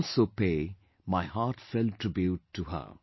I also pay my heartfelt tribute to her